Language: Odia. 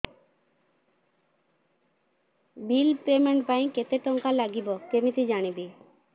ବିଲ୍ ପେମେଣ୍ଟ ପାଇଁ କେତେ କେତେ ଟଙ୍କା ଲାଗିବ କେମିତି ଜାଣିବି